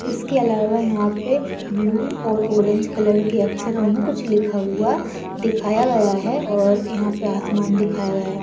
इसके अलावा यहाँ पे ब्लू और ऑरेंज कलर के अक्षरों मे कूछ लिखा हुआ दिखाया गया है और यहाँ पे आसमान दिखाया गया है।